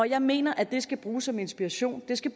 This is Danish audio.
jeg mener at det skal bruges som inspiration det skal